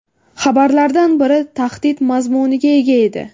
Xabarlardan biri tahdid mazmuniga ega edi.